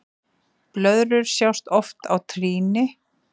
Blöðrur sjást oft á trýni.